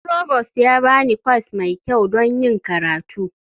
Provost ya ba ni kwas mai kyau don yin karatu.